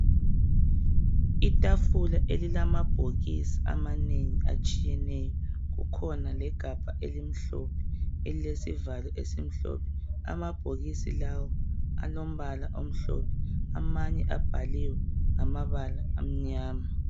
Itafula elilamabhokisi amanengi atshiyeneyo, kukhona legabha elimhlophe elilesivalo esimhlophe. Amabhokisi lawa alombala omhlophe amanye abhaliwe ngamabala amnyama.